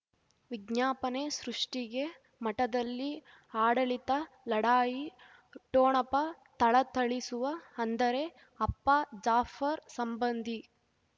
ವಿಜ್ಞಾಪನೆ ಸೃಷ್ಟಿಗೆ ಮಠದಲ್ಲಿ ಆಡಳಿತ ಲಢಾಯಿ ಠೊಣಪ ಥಳಥಳಿಸುವ ಅಂದರೆ ಅಪ್ಪ ಜಾಫರ್ ಸಂಬಂಧಿ